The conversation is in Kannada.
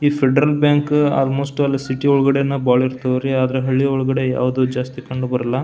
ಈ ಫೆಡರಲ್ ಬ್ಯಾಂಕ್ ಆಲ್ಮೋಸ್ಟ್ ಸಿಟಿ ಒಳಗಡೆ ಬಹಳ ಇರ್ತಾವ ರೀ ಅದರ ಹಳ್ಳಿ ಯೊಳಗೆ ಯಾವ್ದು ಜಾಸ್ತಿ ಕಂಡುಬರೋಲ್ಲ.